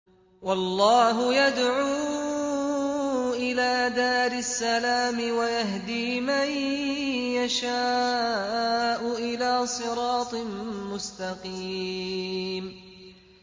وَاللَّهُ يَدْعُو إِلَىٰ دَارِ السَّلَامِ وَيَهْدِي مَن يَشَاءُ إِلَىٰ صِرَاطٍ مُّسْتَقِيمٍ